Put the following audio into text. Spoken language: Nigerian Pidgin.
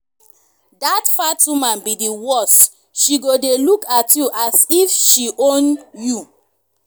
dat fat woman be the worse she go dey look at you as if she own you.